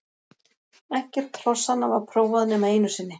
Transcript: Ekkert hrossanna var prófað nema einu sinni.